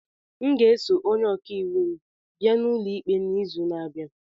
M ga-eso onye ọka iwu m bịa n'ụlọ ikpe n'izu na-abịa.